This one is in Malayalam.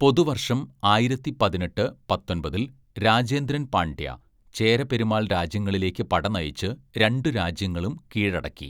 പൊതുവര്‍ഷം ആയിരത്തി പതിനെട്ട്, പത്തൊമ്പതില്‍, രാജേന്ദ്രൻ പാണ്ഡ്യ, ചേര പെരുമാൾ രാജ്യങ്ങളിലേക്ക് പടനയിച്ച് രണ്ടു രാജ്യങ്ങളും കീഴടക്കി.